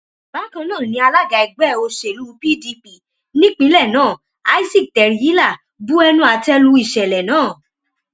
bákan náà ni alága ẹgbẹ òṣèlú pdp nípìnlẹ náà isaac teryila bu ẹnu àtẹ lu ìṣẹlẹ náà